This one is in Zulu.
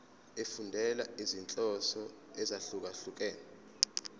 efundela izinhloso ezahlukehlukene